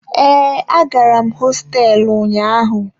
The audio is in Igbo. Ee, agara m hosteelu ụnyaahụ.